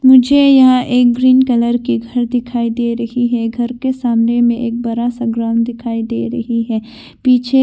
मुझे यहां पे एक ग्रीन कलर कि घर दिखाई दे रही है घर के सामने में एक बड़ा सा ग्राउंड दिखाई दे रही है पिछे--